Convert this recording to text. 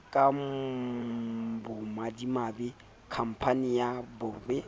ka bomadimabe khampane ya boabiele